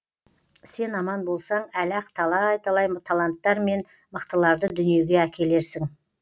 сен аман болсаң әлі ақ талай талай таланттар мен мықтыларды дүниеге әкелерсің